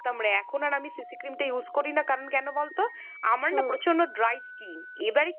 করতাম রে। এখন আর আমি CC cream টা use করিনা। কেন বলতো আমার না dry skin। এবারে